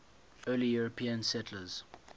early european settlers